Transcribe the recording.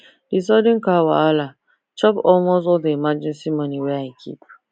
that sudden car wahala chop almost all the emergency money wey i keep